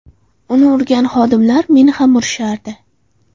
Uni urgan xodimlar meni ham urishardi.